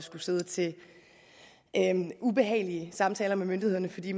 skulle sidde til ubehagelige samtaler med myndighederne fordi